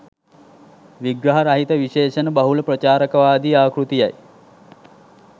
විග්‍රහ රහිත විශේෂණ බහුල ප්‍රචාරකවාදී ආකෘතියයි